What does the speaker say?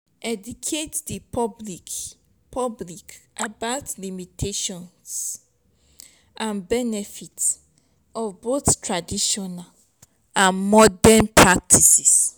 educate di public public about the limitations and benefits of both traditional and modern practice